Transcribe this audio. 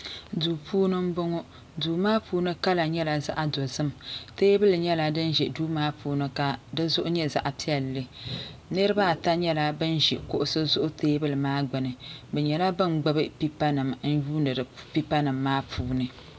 Duu puuni n bɔŋɔ duu maa puuni kala nyɛla zaɣi dozim tɛɛbuli nyɛla dini zi duu maa puuni ka di zuɣu nyɛ zaɣi piɛlli niriba ata nyɛla bini zi kuɣusi zuɣu tɛɛbuli maa gbuni ni nyɛla bini gbubi pɛpa nima n yuuni pɛpa nima maa puuni.